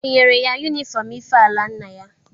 E nyere ya yunifọm ife ala nna ya?